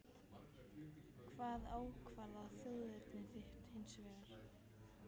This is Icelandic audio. Hvað ákvarðar þjóðerni þitt hins vegar?